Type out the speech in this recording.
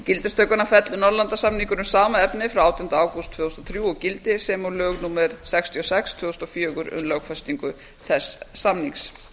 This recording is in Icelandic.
gildistökuna fellur norðurlandasamningur um sama efni frá átjánda ágúst tvö þúsund og þrjú úr gildi sem og lög númer sextíu og sex tvö þúsund og fjögur um lögfestingu þess samnings